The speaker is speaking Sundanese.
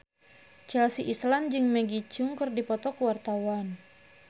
Chelsea Islan jeung Maggie Cheung keur dipoto ku wartawan